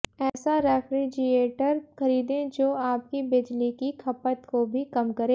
ऐसा रेफ्रिजिएटर खरीदें जो आपकी बिजली की खपत को भी कम करें